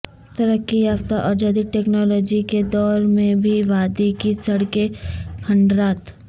ترقی یافتہ اور جدید ٹیکنالوجی کے دور میںبھی وادی کی سڑکیں کھنڈرات